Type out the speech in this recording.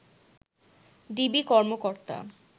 DB কর্মকর্তা